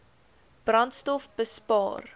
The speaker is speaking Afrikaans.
brandstofbespaar